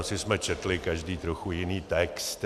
Asi jsme četli každý trochu jiný text.